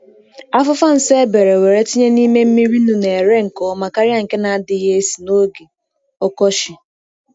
Afufa nsen e bee were tinye n’ime mmiri nnu na-ere nke ọma karịa nke na-adịghị esi n’oge ọkọchị.